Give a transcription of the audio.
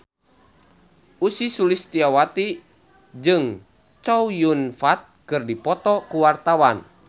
Ussy Sulistyawati jeung Chow Yun Fat keur dipoto ku wartawan